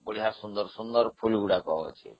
ବଢିଆ ସୁନ୍ଦର ସୁନ୍ଦର ଫୁଲଗଛ ଅଛି